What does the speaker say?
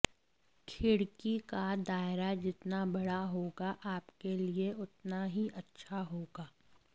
खिड़की का दायरा जितना बड़ा होगा आपके लिए उतना ही अच्छा होगा